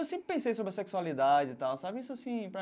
Eu sempre pensei sobre a sexualidade e tal, sabe? Isso sim.